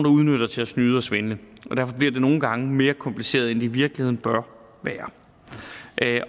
udnytter til at snyde og svindle og nogle gange mere kompliceret end det i virkeligheden bør være